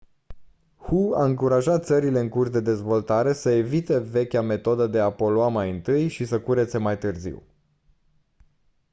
hu a încurajat țările în curs de dezvoltare să evite vechea metodă de a polua mai întâi și să curețe mai târziu